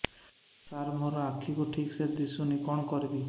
ସାର ମୋର ଆଖି କୁ ଠିକସେ ଦିଶୁନି କଣ କରିବି